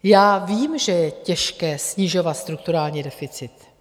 Já vím, že je těžké snižovat strukturální deficit.